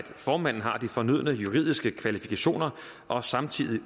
formanden har de fornødne juridiske kvalifikationer og samtidig